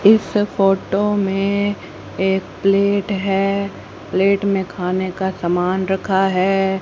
इस फोटो में एक प्लेट है प्लेट में खाने का समान रखा है।